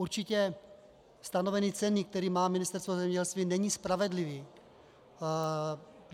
Určitě stanovení ceny, které má Ministerstvo zemědělství, není spravedlivé.